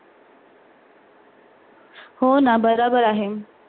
हो ना बरोबर आहे.